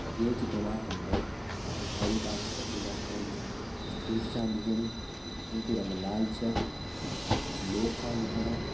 ये चित्र मा हम तें एक हरी टाट पट्टी का एंच कुछ कुर्सी छा दिखेणी जौं कु रंग लाल छा अर कुछ लोग छा दिखेणा।